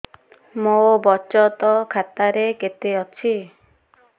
ମୋ ବଚତ ଖାତା ରେ କେତେ ଅଛି